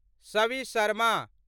Savi Sharma